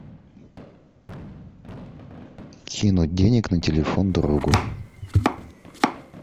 кинуть денег на телефон другу